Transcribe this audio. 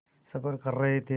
सफ़र कर रहे थे